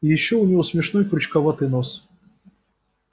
и ещё у него смешной крючковатый нос